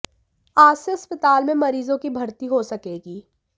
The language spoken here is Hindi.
आज से अस्पताल में मरीजों की भर्ती हो सकेगी